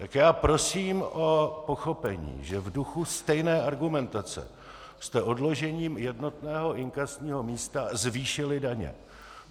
Tak já prosím o pochopení, že v duchu stejné argumentace jste odložením jednotného inkasního místa zvýšili daně.